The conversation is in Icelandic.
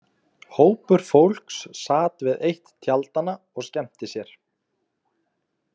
Hópur fólks sat við eitt tjaldanna og skemmti sér.